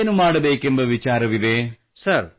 ಮುಂದೆ ಏನು ಮಾಡಬೇಕೆಂಬ ವಿಚಾರವಿದೆ